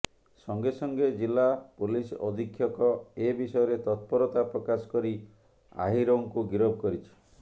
ସଙ୍ଗେ ସଙ୍ଗେ ଜିଲ୍ଲା ପୋଲିସ ଅଧୀକ୍ଷକ ଏ ବିଷୟରେ ତତ୍ପରତା ପ୍ରକାଶ କରି ଆହିରଙ୍କୁ ଗିରଫ କରିଛି